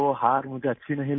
مجھے شکست پسند نہیں آئی